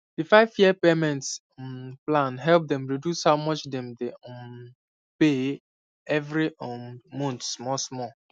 di five year payment um plan help dem reduce how much dem dey um pay every um month small small